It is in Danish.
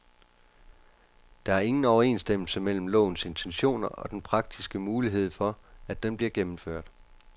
Der er ingen overensstemmelse mellem lovens intentioner og den praktiske mulighed for, at den bliver gennemført.